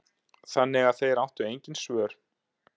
Þannig að þeir áttu engin svör.